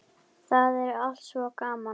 Það er allt svo gaman.